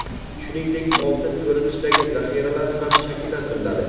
shuningdek oltin ko‘rinishidagi zaxiralar ham shakllantiriladi.